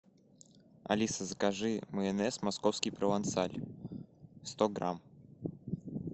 алиса закажи майонез московский провансаль сто грамм